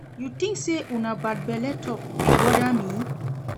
You think say una bad belle talk dey bother me?